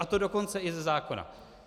A to dokonce i ze zákona.